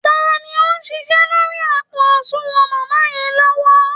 Ta ni ó ń ṣiṣẹ́ lórí àpò àsunwọ̀n màmá yẹn lọ́wọ́?